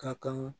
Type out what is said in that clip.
Ka kan